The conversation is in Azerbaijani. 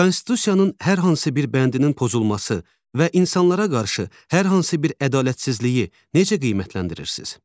Konstitusiyanın hər hansı bir bəndinin pozulması və insanlara qarşı hər hansı bir ədalətsizliyi necə qiymətləndirirsiz?